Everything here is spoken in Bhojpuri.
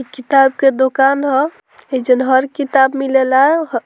इ किताब के दुकान ह एजन हर किताब मिलेला ह --